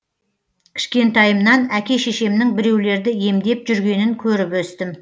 кішкентайымнан әке шешемнің біреулерді емдеп жүргенін көріп өстім